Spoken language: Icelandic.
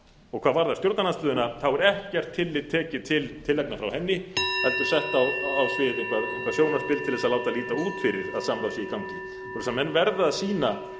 og hvað varðar stjórnarandstöðuna er ekkert tillit tekið til tillagna frá henni heldur sett á svið eitthvert sjónarspil til þess að láta líta út fyrir að samráð sé í gangi menn verða að sýna